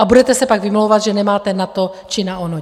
A budete se pak vymlouvat, že nemáte na to či na ono.